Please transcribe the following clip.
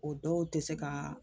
O dɔw te se kaa